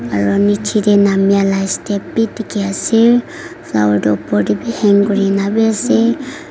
aro niche te namia la step bi dikhi ase flower toh oper te bi hang kuri ne bi ase.